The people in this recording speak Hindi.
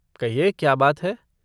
कहिए क्या बात है?